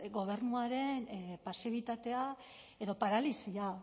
gobernuaren pasibitatea edo paralisia